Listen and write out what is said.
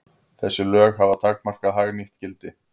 Þessi lög hafa takmarkað hagnýtt gildi.